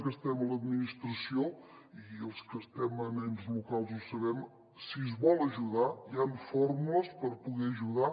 que estem a l’administració i els que estem en ens locals ho sabem si es vol ajudar hi han fórmules per poder ajudar